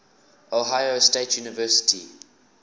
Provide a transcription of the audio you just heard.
ohio state university